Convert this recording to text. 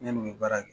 Ne n'u bɛ baara kɛ